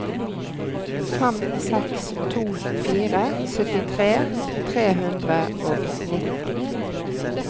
fem seks to fire syttitre tre hundre og nitten